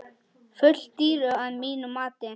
Full dýru að mínu mati.